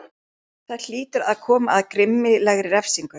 Það hlýtur að koma að grimmilegri refsingu.